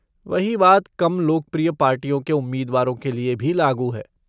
वही बात कम लोकप्रिय पार्टियों के उम्मीदवारों के लिए भी लागू है।